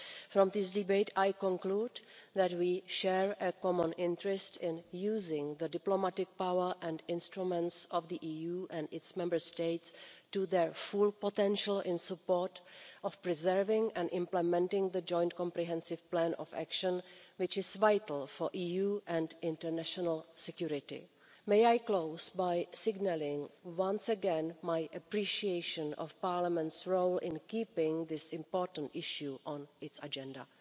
From this debate I conclude that we share a common interest in using the diplomatic power and instruments of the EU and its Member States to their full potential in support of preserving and implementing the joint comprehensive plan of action, which is vital for EU and international security. May I close by signalling once again my appreciation of Parliament's role in keeping this important issue on its agenda.